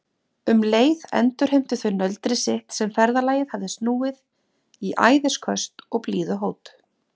Um leið endurheimtu þau nöldrið sitt sem ferðalagið hafði snúið í æðisköst og blíðuhót.